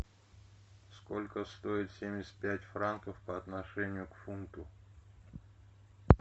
сколько стоит семьдесят пять франков по отношению к фунту